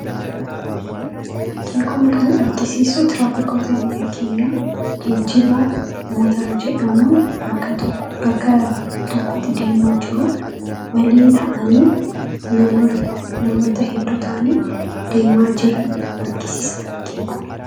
Fakkiin Kun kan argisiisu tiraafikoota biyyaa keenya geejiba motora jedhamu bakka tokkotti deemaa jiruu waliin ta'anii namoota hedduu ta'anii deemaa jiran argisiisa fakkiin Kun.